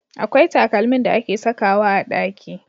Akwai takalmin da ake sakawa a ɗaki.